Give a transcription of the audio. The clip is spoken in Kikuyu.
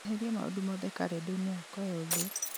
eheria maũndũ mothe karenda-inĩ yakwa yothe